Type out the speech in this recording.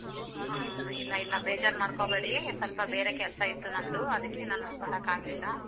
ಹ್ಮ್ ಇಲ್ಲ ಇಲ್ಲ ಬೇಜಾರ್ ಮಾಡ್ಕೋಬೇಡಿ ಸ್ವಲ್ಪ ಬೇರೆ ಕೆಲ್ಸ ಇತ್ತು ನಂದು ಅದ್ಕೆ ನಾನು ಬರಾಕ್ ಆಗ್ಲಿಲ್ಲ.